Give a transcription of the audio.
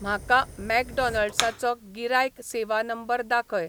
म्हाका मॅकडॉनल्ड्साचो गिरायक सेवा नंबर दाखय